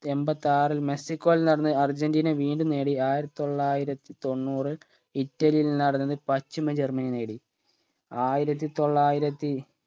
എമ്പത്താറിൽ മെക്സിക്കോയിൽ നടന്ന് അർജന്റീന വീണ്ടും നേടി ആയിരത്തി തൊള്ളായിരത്തി തൊണ്ണൂറ് ഇറ്റലിയിൽ നടന്നത് പശ്ചിമ ജർമനി നേടി ആയിരത്തി തൊള്ളായിരത്തി